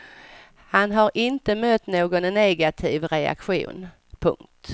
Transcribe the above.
Han har inte mött någon negativ reaktion. punkt